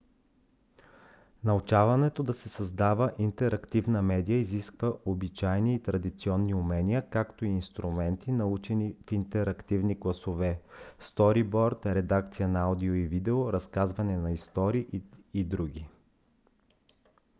научаването да се създава интерактивна медия изисква обичайни и традиционни умения както и инструменти научени в интерактивни класове сториборд редакция на аудио и видео разказване на истории и др.